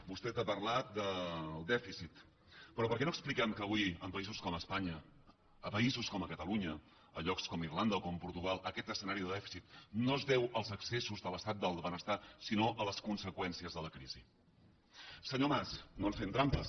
vostè ha parlat del dèficit però per què no expliquem que avui en països com espanya a països com catalunya a llocs com irlanda o com portugal aquest escenari de dèficit no es deu als excessos de l’estat del benestar sinó a les conseqüències de la crisi senyor mas no ens fem trampes